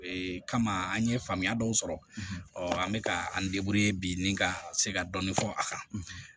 Ee kama an ye faamuya dɔw sɔrɔ ɔɔ an be ka an bi ni ka se ka dɔɔni fɔ a kan